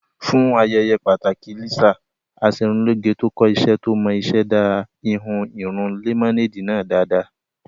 Fún ayẹyẹ pàtàkì Lisa, Aṣerunlóge tó kọ́ iṣẹ́ tó mọ iṣẹ́ dá ìhun irun lẹ́mọ́néèdì náà dáadáa